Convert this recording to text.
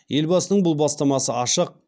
елбасының бұл бастамасы ашық